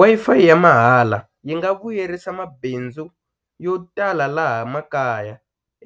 Wi-Fi ya mahala yi nga vuyerisa mabindzu yo tala laha makaya